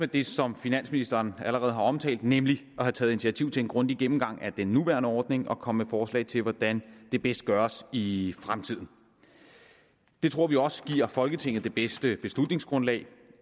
det som finansministeren allerede har omtalt nemlig der er taget initiativ til en grundig gennemgang af den nuværende ordning og at komme med forslag til hvordan det bedst gøres i fremtiden det tror vi også giver folketinget det bedste beslutningsgrundlag